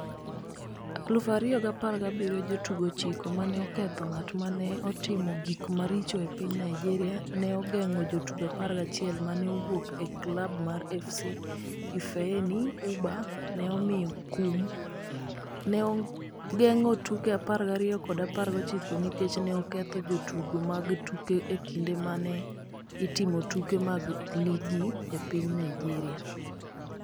2017 Jotugo 9 ma ne oketho ng’at ma ne otimo gik maricho e piny Nigeria ne ogeng’o jotugo 11 ma ne owuok e klab mar FC Ifeani Ubah, ne omiye kum. ne ogeng’o tuke 12 kod 19 nikech ne oketho jotugo mag tuke e kinde ma ne itimo tuke mag ligi e piny Naijeria.